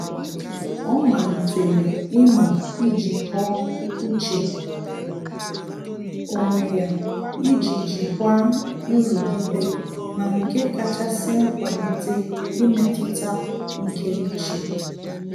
Ọ́ màlị́tèrè imu ijíkọ́ọ́ úchè onwe ya iji jikwa nrugide ma nke kàchàsị́ kwalite mmetụta nke úchè.